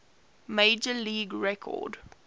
major league record